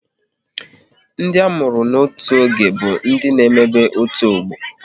Ndị a mụrụ n'otu oge bụ ndị n'emebe otu ọgbọ